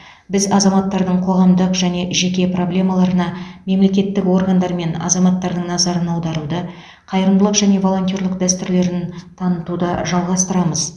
біз азаматтардың қоғамдық және жеке проблемаларына мемлекеттік органдар мен азаматтардың назарын аударуды қайырымдылық және волонтерлік дәстүрлерін танытуды жалғастырамыз